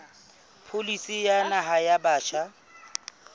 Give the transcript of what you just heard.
pholisi ya naha ya batjha